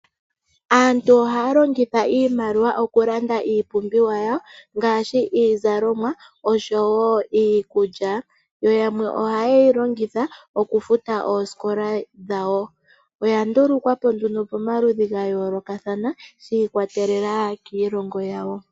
Aantu ohaya longitha iimaliwa oku landa iipumbiwa yawo ngaashi iizalomwa, osho wo iikulya. Yo yamwe oha yeyi longitha oku futa oosikola dhawo. Oya ndulukwapo nduno pamaludhi gayoloka thana shikwatelela kiilongo yawo.